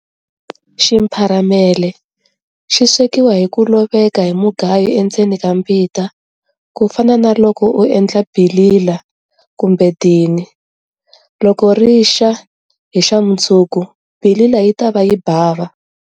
Ximpharamele xi swekiwa hi ku loveka hi mugayo endzeni ka mbita ku fana na loko u endla bilila kumbe dini. Loko ri xa hi xamundzuku bilila yi ta va yi bava.